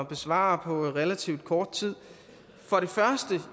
besvare på relativt kort tid